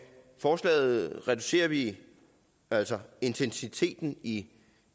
forslaget reducerer vi altså intensiteten i